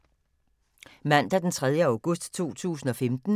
Mandag d. 3. august 2015